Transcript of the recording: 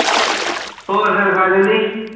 ਹੋਰ ਫਿਰ ਕਾਜਲ ਜੀ